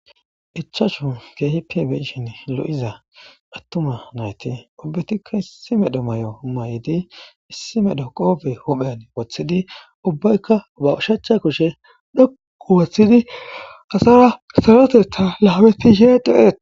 ichashu keehi pibi'shin lo7iza attuma nayti ubbetikka issimedo may7o may7idi issimedho qoobe huphen wothidi ubbaykka uba ushacha kushe dhoqu woththidi asara salotetta laametishe de7eet